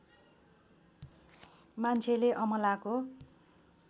मान्छेले अमलाको